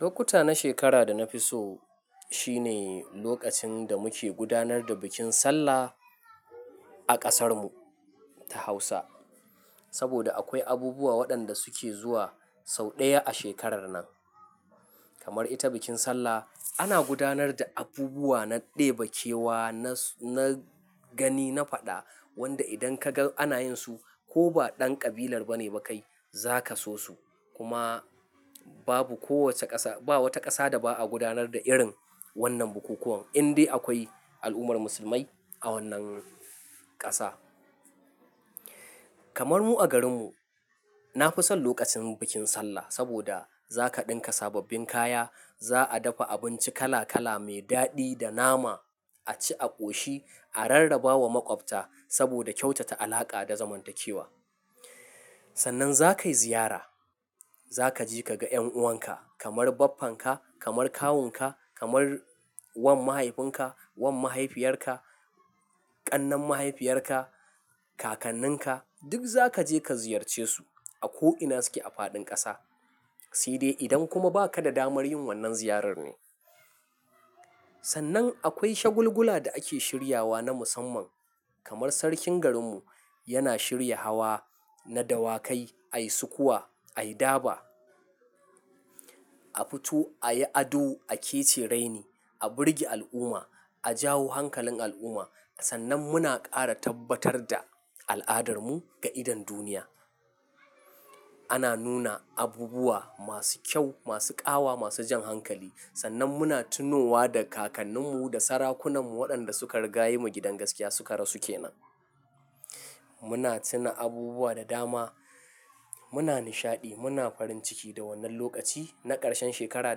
Lokuta na shekara da na fi so shine lokacin da muke gudanar da bikin Sallah a ƙasarmu ta Hausa. Saboda akwai abubuwa waɗanda suke zuwa sau ɗaya a shekarar nan, kamar ita bikin Sallah. Ana gudanar da abubuwa na ɗebe kewa, na, na gani na faɗa wanda idan ka ga ana yin su ko ba ɗan ƙabilar ba ne ba kai za ka so su. Kuma babu kowace ƙasa, ba wata ƙasa da ba a gudanar da irin wannan bukukuwan indai akwai al'ummar musulmai a wannan ƙasa. Kamar mu a garinmu, na fi son lokacin bikin Sallah saboda za ka ɗinka sababbin kaya, za a dafa abinci kala kala mai daɗi da nama a ci a ƙoshi, a rarraba wa maƙwabta saboda kyautata alaƙa da zamantakewa. Sannan za ka yi ziyara. Za ka je ka ga ƴan'uwanka kamar baffanka, kamar kawunka, kamar wan mahaifinka, wan mahaifiyarka, ƙannan mahaifiyarka, kakanninka duk za ka je ka ziyarce su a ko'ina suke a faɗin ƙasa. Sai dai idan kuma ba ka da damar yin wannan ziyarar ne. Sannan akwai shagulgula da ake shiryawa na musamman kamar sarkin garinmu yana shirya hawa na dawakai, ai sukowa, ai daba, a fito ayi ado a kecere ni, a birge al'umma, a jawo hankalin al'umma. Sannan muna ƙara tabbatar da al'adarmu ga idon duniya. Ana nuna abubuwa masu kyau, masu ƙawa, masu jan hankali. Sannan muna tunowa da kakanninmu da sarakunanmu waɗanda suka riga yi mu gidan gaskiya suka rasu ke nan. Muna tuna abubuwa da dama, muna nishaɗi, muna farin ciki da wannan lokaci na ƙarshen shekara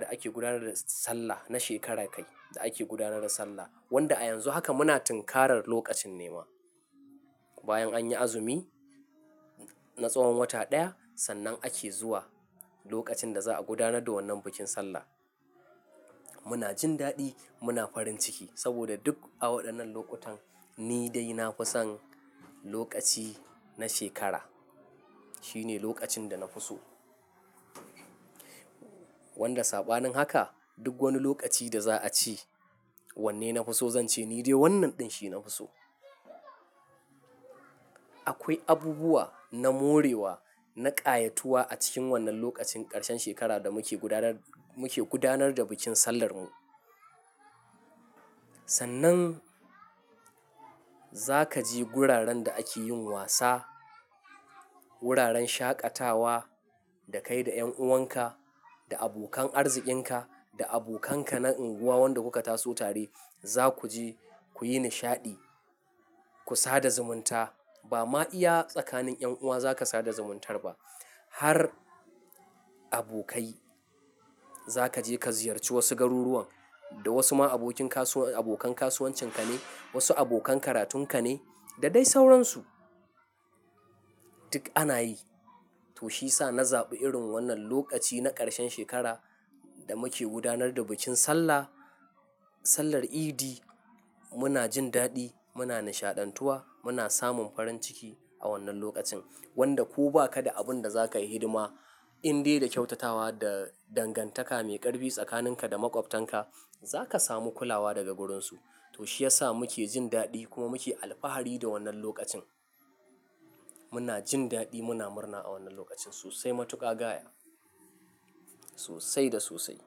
da ake gudanar da Sallah, na shekara kai da ake gudanar da Sallah. Wanda a yanzu haka muna tunkarar lokacin ne ma. Bayan an yi azumi na tsawon wata ɗaya sannan ake zuwa lokacin da za a gudanar da wannan bikin Sallah. Muna jin daɗi, muna farin ciki saboda duk a waɗannan lokutan ni dai na fi son lokaci na shekara. Shi ne lokacin da na fi so. Wanda saɓanin haka duk wani lokaci da za a ce wanne na fi so, zan ce ni dai wannan ɗin shi na fi so. Akwai abubuwa na morewa, na ƙayatuwa a cikin wannan lokacin ƙarshen shekara da muke gudanar, muke gudanar da bikin Sallar mu. Sannan za ka je wuraren da ake yin wasa, wuraren shaƙatawa da kai da ƴan'uwanka, da abokan arzikin ka, da abokanka na unguwa wanda kuka taso tare. Za ku je ku yi nishaɗi, ku sada zumunta. Ba ma iya tsakanin ƴan'uwa za ka sada zumuntar ba har abokai. Za ka je ka ziyarci wasu garuruwan da wasu ma abokin kasuwar, abokan kasuwancin ka ne, wasu abokan karatun ka ne da dai sauran su. Duk ana yi. To shi ya sa na zaɓi irin wannan lokaci na ƙarshen shekara da muke gudanar da bikin Sallah, Sallar Idi. Muna jin daɗi, muna nishaɗantuwa, muna samun farin ciki a wannan lokacin. Wanda ko ba ka da abin da za ka yi hidima indai da kyautatawa da dangantaka mai ƙarfi tsakanin ka da maƙwabtanka za ka samu kulawa daga wurinsu. To shi ya sa muke jin daɗi kuma muke alfahari da wannan lokacin. Muna jin daɗi, muna murna a wannan lokacin sosai matuƙa gaya. Sosai da sosai.